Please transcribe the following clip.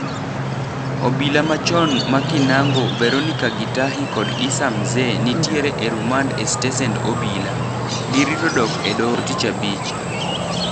Obila machon ma Kinango, Veronicah Gitahi kod Issa Mzee nitiere e rumand e stesend obila. Girito dok e doho tichabich.